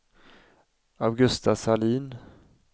Augusta Sahlin